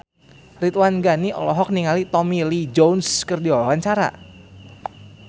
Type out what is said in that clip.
Ridwan Ghani olohok ningali Tommy Lee Jones keur diwawancara